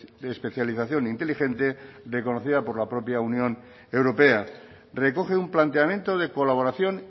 de especialización inteligente reconocida por la propia unión europea recoge un planteamiento de colaboración